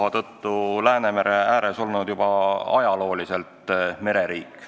Eesti on Läänemere ääres asudes juba ajalooliselt mereriik.